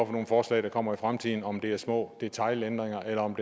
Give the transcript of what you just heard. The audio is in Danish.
for nogle forslag der kommer i fremtiden om det er små detailændringer eller om